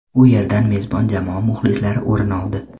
U yerdan mezbon jamoa muxlislari o‘rin oldi.